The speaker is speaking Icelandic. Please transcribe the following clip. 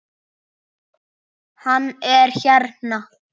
Hann er hérna.